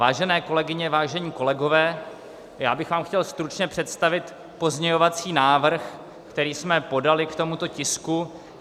Vážené kolegyně, vážení kolegové, já bych vám chtěl stručně představit pozměňovací návrh, který jsme podali k tomuto tisku.